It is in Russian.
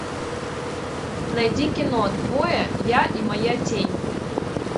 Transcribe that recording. найди кино двое я и моя тень